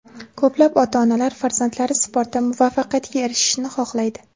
Ko‘plab ota-onalar farzandlari sportda muvaffaqiyatga erishishini xohlaydi.